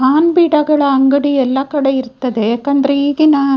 PAN ಬೀಡಗಳ ಅಂಗಡಿ ಎಲ್ಲಾ ಕಡೆ ಇರ್ತದೆ ಯಾಕಂದ್ರೆ ಈಗಿನ --